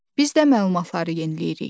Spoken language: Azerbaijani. Biz də məlumatları yeniləyirik.